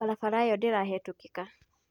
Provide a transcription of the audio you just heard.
Barabara ĩyo ndĩrahĩtũkĩka